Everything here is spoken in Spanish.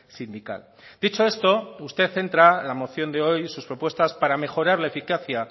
sindical dicho esto usted centra la moción de hoy sus propuestas para mejorar la eficacia